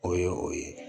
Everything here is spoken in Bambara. O ye o ye